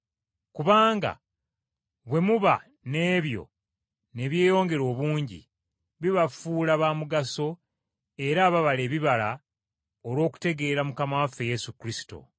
Kubanga bwe muba n’ebyo ne byeyongera obungi, bibafuula ba mugaso era ababala ebibala olw’okutegeera Mukama waffe Yesu Kristo.